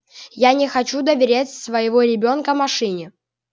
я не хочу доверять своего ребёнка машине